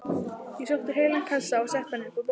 Ég sótti heilan kassa og setti hann upp á borð.